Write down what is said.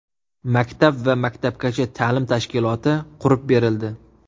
Maktab va maktabgacha ta’lim tashkiloti qurib berildi.